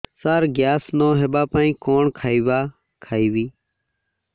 ସାର gas ନ ହେବା ପାଇଁ କଣ ଖାଇବା ଖାଇବି